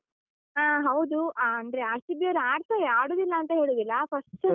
ಹಾ ಹೌದು, ಆ ಅಂದ್ರೆ RCB ಅವ್ರ್ ಆಡ್ತಾರೆ ಆಡುದಿಲ್ಲ ಅಂತ ಹೇಳುದಿಲ್ಲ, first.